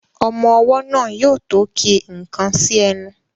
Ọmọ ọwọ́ náà yóò tó ki nnkan sí ẹni